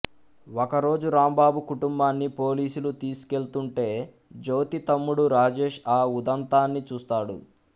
ఒక రోజు రాంబాబు కుటుంబాన్ని పోలీసులు తీసుకెళ్తుంటే జ్యోతి తమ్ముడు రాజేష్ ఆ ఉదంతాన్ని చూస్తాడు